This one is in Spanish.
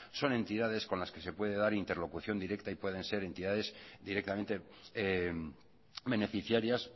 son entidades con las que se puede dar interlocución directa y puedan ser entidades directamente beneficiarias